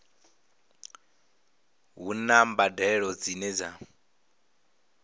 a huna mbadelo dzine dza